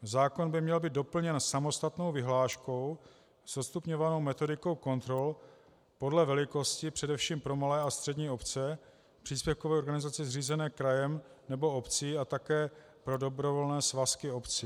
Zákon by měl být doplněn samostatnou vyhláškou s odstupňovanou metodikou kontrol podle velikosti především pro malé a střední obce, příspěvkové organizace zřízené krajem nebo obcí a také pro dobrovolné svazky obcí.